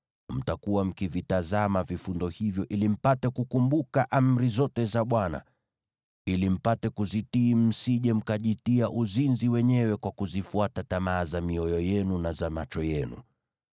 Mtakuwa mkivitazama vifundo hivyo ili mpate kukumbuka amri zote za Bwana , ili mpate kuzitii msije mkajitia uzinzi wenyewe kwa kuzifuata tamaa za mioyo yenu na za macho yenu.